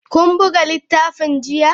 Kun buga littafin jiya?